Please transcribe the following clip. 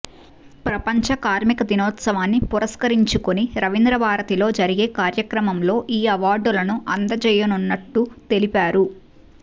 ప్రపంచ కార్మిక దినోత్సవాన్ని పురస్కరించుకొని రవీంధ్రభారతిలో జరిగే కార్యక్రమంలో ఈ అవార్డులను అందజేయనున్నట్టు తెలిపారు